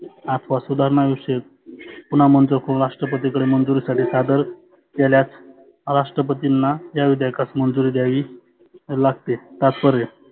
आथवा सुधारना विषयक पुन्हा मंजुर करुण राष्ट्रपती कडे मंजुरीसाठी सादर केल्यास राष्ट्रपतींना या विधेयकास मंजुरी द्यावी लागते तात्पर्य.